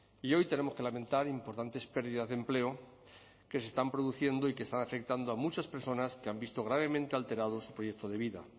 y hoy tenemos que lamentar importantes pérdidas de empleo que se están produciendo y que están afectando a muchas personas que han visto gravemente alterado su proyecto de vida